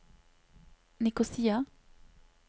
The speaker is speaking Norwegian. Nikosia